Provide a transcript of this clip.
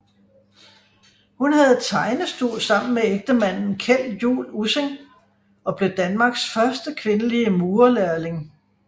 Hun havde tegnestue sammen med ægtemanden Kjeld Juul Ussing og blev Danmarks første kvindelige murerlærling